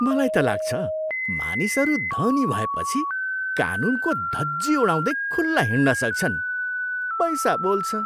मलाई त लाग्छ, मानिसहरू धनी भएपछि कानुनको धजिया उडाउँदै खुल्ला हिँड्न सक्छन्। पैसा बोल्छ!